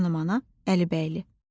Xanımana Əlibəyli.